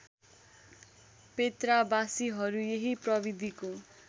पेत्राबासीहरू यही प्रविधिको